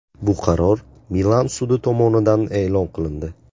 Bu qaror Milan sudi tomonidan e’lon qilindi.